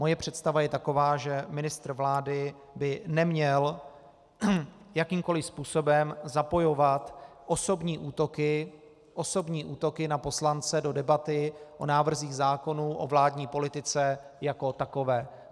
Moje představa je taková, že ministr vlády by neměl jakýmkoli způsobem zapojovat osobní útoky na poslance do debaty o návrzích zákonů o vládní politice jako takové.